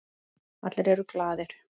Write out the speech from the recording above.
Allir eru glaðir.